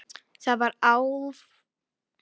Það var alltaf erfitt.